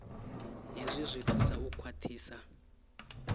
hezwi zwi thusa u khwaṱhisa